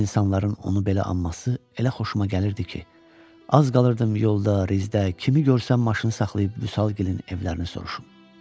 İnsanların onu belə anması elə xoşuma gəlirdi ki, az qalırdım yolda, rizdə kimi görsəm maşın saxlayıb Vüsalgilin evlərini soruşum.